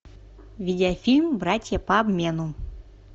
видеофильм братья по обмену